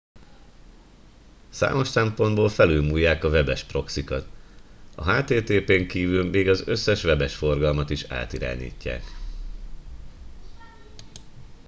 számos szempontból felülmúlják a webes proxykat a http n kívül még az összes webes forgalmat is átirányítják